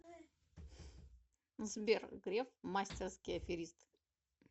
сбер греф мастерский аферист